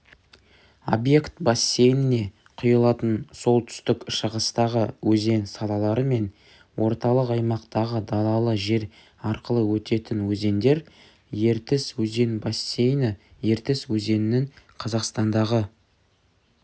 обьект бассейніне құйылатын солтүстік-шығыстағы өзен салалары мен орталық аймақтағы далалы жер арқылы өтетін өзендер ертіс өзен бассейні ертіс өзенінің қазақстандағы